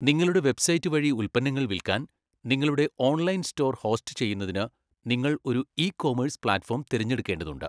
നിങ്ങളുടെ വെബ്സൈറ്റ് വഴി ഉൽപ്പന്നങ്ങൾ വിൽക്കാൻ, നിങ്ങളുടെ ഓൺലൈൻ സ്റ്റോർ ഹോസ്റ്റുചെയ്യുന്നതിന് നിങ്ങൾ ഒരു ഇ കൊമേഴ്സ് പ്ലാറ്റ്ഫോം തിരഞ്ഞെടുക്കേണ്ടതുണ്ട്.